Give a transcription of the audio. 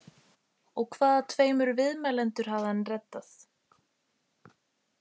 Og hvaða tveimur viðmælendur hafði hann reddað?